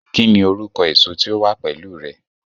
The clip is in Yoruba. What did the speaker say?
kí ni orúkọ èso tí ó wà pẹlú rẹ?